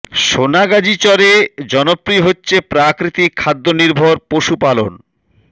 সোনাগাজীর চরে জনপ্রিয় হচ্ছে প্রাকৃতিক খাদ্য নির্ভর পশু পালন